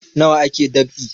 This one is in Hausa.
Nawa ake dab'i